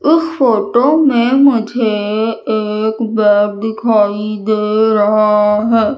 इस फोटो में मुझे एक बेड दिखाई दे रहा है।